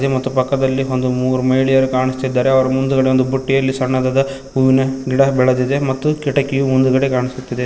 ಮತ್ತು ಪಕ್ಕದಲ್ಲಿ ಒಂದು ಮೂರು ಮಹಿಳೆಯರು ಕಾಣಿಸ್ತಿದ್ದಾರೆ ಅವರ ಮುಂದ್ಗಡೆ ಒಂದ್ ಬುಟ್ಟಿಯಲ್ಲಿ ಸಣ್ಣದಾದ ಹೂವಿನ ಗಿಡ ಬೆಳೆದಿದೆ ಮತ್ತು ಕಿಟಕಿಯು ಮುಂದುಗಡೆ ಕಾಣಿಸುತ್ತಿದೆ.